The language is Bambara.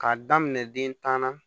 K'a daminɛ den tan na